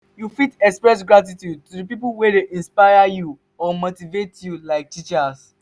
you fit express gratitude to di people wey inspire or motivate you like teachers.